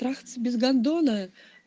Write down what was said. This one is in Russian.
трахаться без гандона